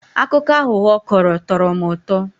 Akụkọ aghụghọ ọ kọrọ tọrọ m ụtọ.